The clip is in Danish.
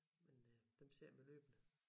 Men øh dem ser vi løbende